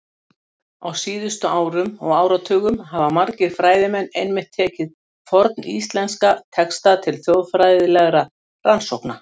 Á síðustu árum og áratugum hafa margir fræðimenn einmitt tekið forníslenska texta til þjóðfræðilegra rannsókna.